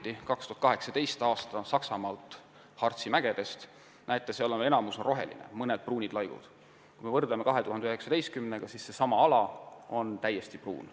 Näete, 2018. aastal Saksamaal Harzi mägedes on enamik ala veel roheline, ainult mõned üksikud pruunid laigud, aga kui võrrelda seda 2019. aasta pildiga, siis näeme, et seesama ala on täiesti pruun.